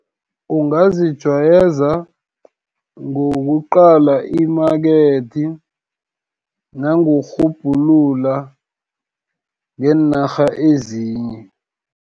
Ungazijwayeza, ngokuqala imakethi, nangokurhubhulula ngeenarha ezinye.